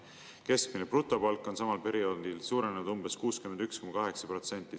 Keskmine brutopalk on samal perioodil suurenenud umbes 61,8%.